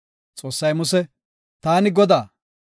Xoossay Muse, “Taani Godaa.